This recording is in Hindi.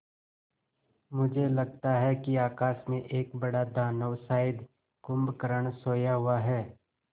मुझे लगता है कि आकाश में एक बड़ा दानव शायद कुंभकर्ण सोया हुआ है